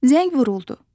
Zəng vuruldu.